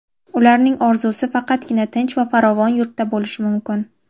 Ularning orzusi faqatgina tinch va farovon yurtda bo‘lishi mumkin.